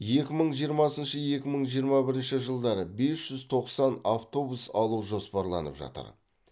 екі мың жиырмасыншы екі мың жиырма бірінші жылдары бес жүз тоқсан автобус алу жоспарланып жатыр